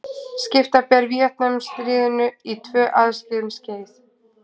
Skipta ber Víetnamstríðinu í tvö aðskilin skeið.